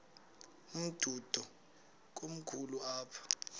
umdudo komkhulu apha